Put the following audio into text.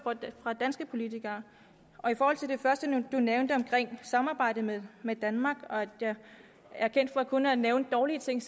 fra danske politikere i forhold til det første der blev nævnt omkring samarbejdet med med danmark og at jeg er kendt for kun at nævne dårlige ting